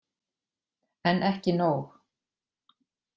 En ekki nóg.